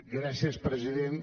gràcies president